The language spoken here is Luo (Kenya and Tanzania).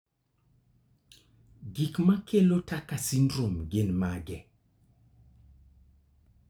Gik makelo Tucker syndrome gin mage?